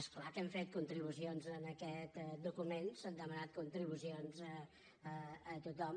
és clar que hem fet contribu cions en aquest document s’han demanat contribucions a tothom